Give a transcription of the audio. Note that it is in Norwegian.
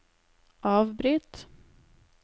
avbryt